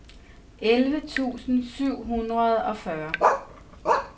elleve tusind syv hundrede og fyrre